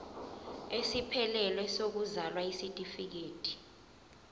esiphelele sokuzalwa isitifikedi